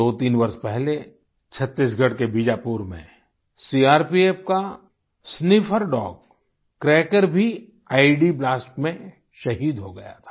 दोतीन वर्ष पहले छत्तीसगढ़ के बीजापुर में सीआरपीएफ का स्निफर डॉग क्रैकर भी ईईडी ब्लास्ट में शहीद हो गया था